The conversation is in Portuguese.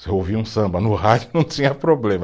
Se eu ouvia um samba no rádio, não tinha problema.